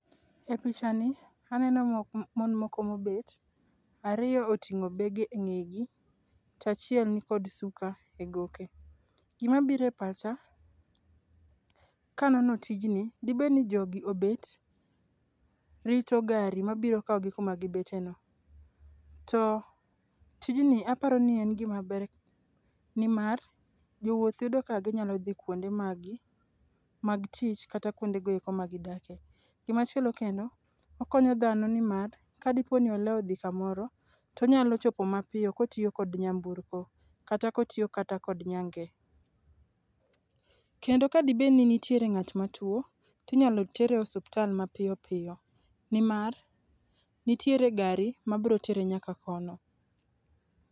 E pichani aneno mon moko mobet, ariyo oting'o bege e ng'egi tachiel nikod suka e goke. Gimabiro e pacha kanono tijni dibedni jogoi obet ritop gari mabiro kawogi kumagibeteno, to tijni aparo ni en gimaber nimar jowuoth yudo kaka ginyalo dhi kuonde maggi mag tich kata kuondegoeko magidake. Gimachielo kendo, okonyo dhano nimar kadiponi olewo dhi kamoro tonyalo chopo mapiyo kotiyo kod nyamburko kata kotiyo kata kod nyange. Kendo kadibedni nitiere ng'at matuo, tinyalo tere osutal mapiyo piyo nimar nitiere gari mabro tere nyaka kono.